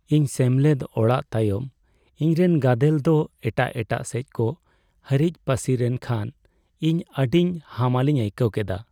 ᱤᱧ ᱥᱮᱢᱞᱮᱫ ᱟᱲᱟᱜ ᱛᱟᱭᱚᱢ ᱤᱧᱨᱮᱱ ᱜᱟᱫᱮᱞ ᱫᱚ ᱮᱴᱟᱜ ᱮᱴᱟᱜ ᱥᱮᱪᱠᱚ ᱦᱟᱹᱨᱤᱡ ᱯᱟᱹᱥᱤᱨᱮᱱ ᱠᱦᱟᱱ ᱤᱧ ᱟᱹᱰᱤ ᱦᱟᱢᱟᱞᱤᱧ ᱟᱹᱭᱠᱟᱹᱣ ᱠᱮᱫᱟ ᱾